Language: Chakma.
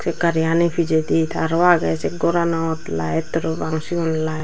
seh gariyani pejedi taro aagey seh goronot light parapang siyun.